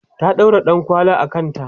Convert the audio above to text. ta ɗaura ɗankwali a kanta